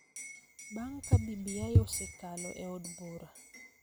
Bang� ka BBI osekalo e od bura,